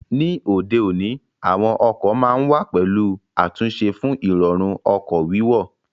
Ní òde òní, àwọn ọkọ̀ ma ń wà pẹ̀lú àtúnṣe fún Ìrọ̀rùn ọkọ̀ wíwọ̀